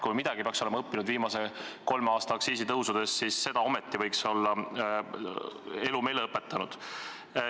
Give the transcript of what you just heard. Kui me midagi peaks olema õppinud viimase kolme aasta aktsiisitõstmistest, siis vähemal seda võiks olla elu meile õpetanud.